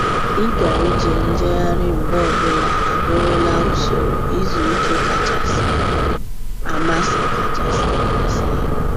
Ịga ije njegharị mgbe ọbụla abụrụla usoro izu ike kachasị amasị kachasị amasị ya.